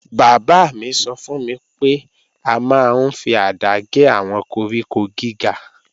Bàbá mi sọ fún mi pé a máa ń fi àdá gé àwọn koríko gíga